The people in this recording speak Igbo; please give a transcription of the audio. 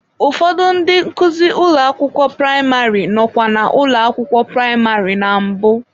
Ụfọdụ ndị nkuzi ụlọ akwụkwọ praịmarị nọkwa na ụlọ akwụkwọ praịmarị na mbụ.